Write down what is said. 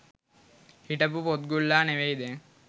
හිටපු පොත්ගුල්ලා නෙවෙයි දැන්